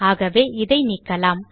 ஆகவே இதை நீக்கலாம்